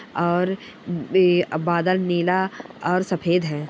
और ये बादल नीला और सफ़ेद है।